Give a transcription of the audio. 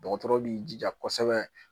Dɔgɔtɔrɔ b'i jija kosɛbɛ